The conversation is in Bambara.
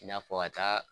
I n'a fɔ ka taa